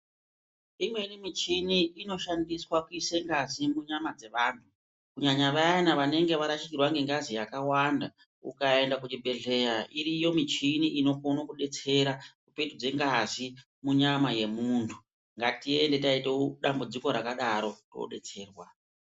Imweni michini inoshandiswa kuise ngazi munyama dzevantu kunyanya vayana vanenge varashikirwa ngengazi yakawanda ukaenda kuchibhehleya iriyo michini inokone kudetsera kupetudze ngazi munyama yemuntu . Ngatiende taite dambudziko rakadaro todetserwa.